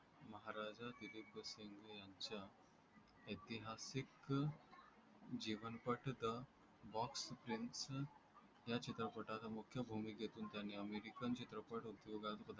ऐतिहासिक जीवनपट boxfilm या चित्रपटाचा मुख्य भूमिकेतून त्यांनी अमेरिकन चित्रपट उद्योगात होत आहे